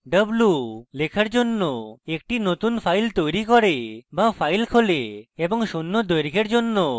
w = লেখার জন্য একটি নতুন file তৈরী করে বা file খোলে এবং শূন্য দৈর্ঘ্যের জন্য কাটছাঁট করে